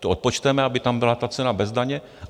To odpočteme, aby tam byla ta cena bez daně.